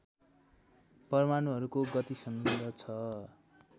परमाणुहरूको गतिसँग छ